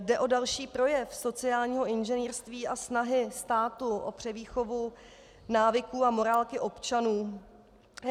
Jde o další projev sociálního inženýrství a snahy státu o převýchovu návyků a morálky občanů.